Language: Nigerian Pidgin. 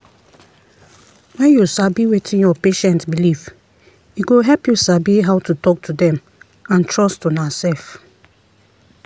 when you sabi wetin your patient belief e go help you sabi how to talk to them and trust unasef.